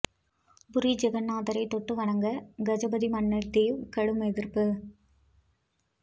புரி ஜெகந்நாதரைத் தொட்டு வணங்க கஜபதி மன்னர் தேவ் கடும் எதிர்ப்பு